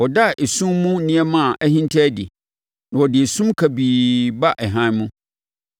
Ɔda esum mu nneɛma a ahinta adi na ɔde esum kabii ba hann mu.